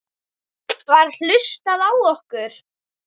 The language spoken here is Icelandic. Var hlustað á okkur?